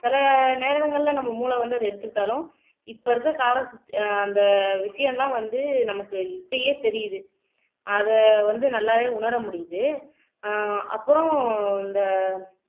சில நேரங்கள்ல நம்ம மூளை வந்து அத எடுத்துக்கிட்டாலும் இப்ப இருக்கிற கால அந்த விஷயம்லாம் வந்து நமக்கு இப்பயே தெரியுது அத வந்து நல்லாவே உணர முடியுது ஆஹ் அப்புறம் இந்த